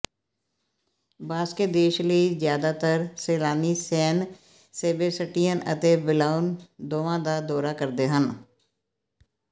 Basque ਦੇਸ਼ ਲਈ ਜ਼ਿਆਦਾਤਰ ਸੈਲਾਨੀ ਸੈਨ ਸੇਬੇਸਟਿਅਨ ਅਤੇ ਬਿਲਬਾਓ ਦੋਵਾਂ ਦਾ ਦੌਰਾ ਕਰਦੇ ਹਨ